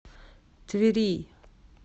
твери